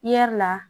la